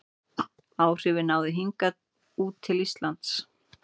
Áhrifin náðu hingað út til Íslands.